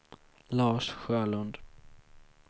Lars Sjölund